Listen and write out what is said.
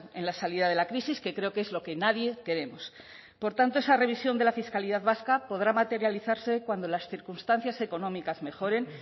en la salida de la crisis que creo que es lo que nadie queremos por tanto esa revisión de la fiscalidad vasca podrá materializarse cuando las circunstancias económicas mejoren